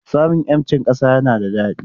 Samun 'yancin ƙasa yana da daɗi.